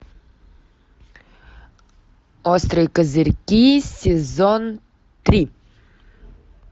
острые козырьки сезон три